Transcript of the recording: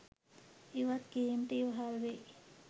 ඉවත් කිරීමට ඉවහල් වෙයි.